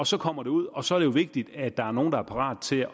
så kommer det ud og så er det jo vigtigt at der er nogle der er parate